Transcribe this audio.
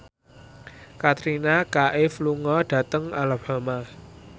Katrina Kaif lunga dhateng Alabama